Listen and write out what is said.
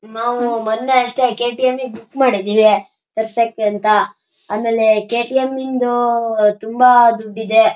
ನಾವು ಮೊನ್ನೆ ಅಷ್ಟೇ ಕೆ.ಟಿ.ಎಂ ಗೆ ಬುಕ್ ಮಾಡಿದ್ವಿ ತರ್ಸೋಕೆ ಅಂತ ಆಮೆಲ ಕೆ.ಟಿ.ಎಂ ಗೆ ತುಂಬಾ ದುಡ್ಡಿದೆ --